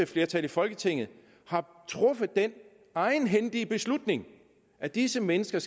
flertal i folketinget traf den egenhændige beslutning at disse mennesker